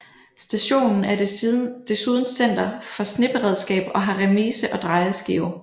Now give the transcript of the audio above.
Stationen er desuden center for sneberedskab og har remise og drejeskive